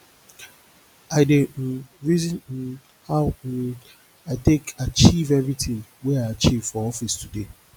i dey um reason um how um i take achieve everytin wey i achieve for office today